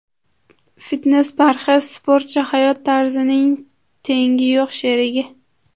Fitnes-parhez sportcha hayot tarzining tengi yo‘q sherigi!